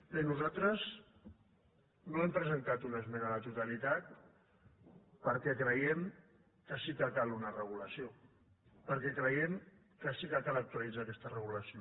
bé nosaltres no hem presentat una esmena a la totalitat perquè creiem que sí que cal una regulació perquè creiem que sí que cal actualitzar aquesta regulació